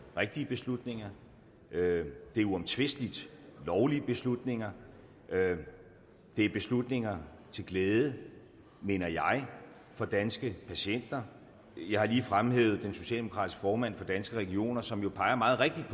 rigtige beslutninger det er uomtvisteligt lovlige beslutninger det er beslutninger til glæde mener jeg for danske patienter jeg har lige fremhævet den socialdemokratiske formand for danske regioner som jo meget rigtigt